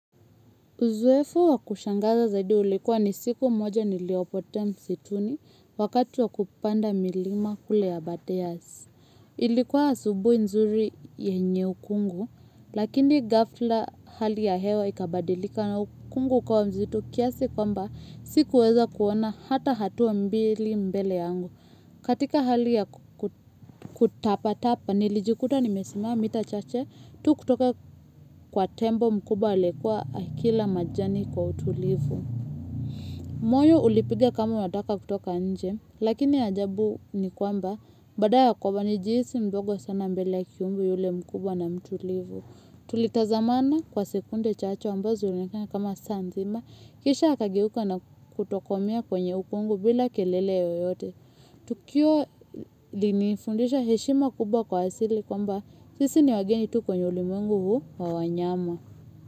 Uzoefu wa kushangaza zaidi ulikuwa ni siku moja niliyopotea msituni wakati wa kupanda milima kule aberdares. Ilikuwa asubuhi nzuri yenye ukungu, lakini gafla hali ya hewa ikabadilika na ukungu ukawa mzito kiasi kwamba sikuweza kuona hata hatua mbili mbele yangu. Katika hali ya kutapa-tapa, nilijikuta nimesimama mita chache, tu kutoka kwa tembo mkubwa aliyekua akila majani kwa utulivu. Moyo ulipiga kama unataka kutoka nje, lakini ajabu ni kwamba, baada ya kwamba nilijisi mdogo sana mbele kiumbe yule mkubwa na mtulivu. Tulitazamana kwa sekunde chache ambazo zilikonekana kama saa nzima kisha akageuka na kutokomea kwenye ukungu bila kelele yeyote. Tukio linifundisha heshima kubwa kwa hasili. Kwamba sisi ni wageni tu kwenye ulimengu huu wa wanyama.